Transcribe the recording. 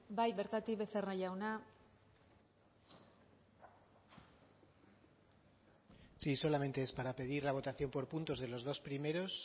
bai bertatik becerra jauna sí solamente es para pedir la votación por puntos de los dos primeros